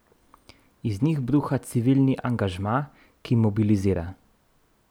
Iz njih bruha civilni angažma, ki mobilizira.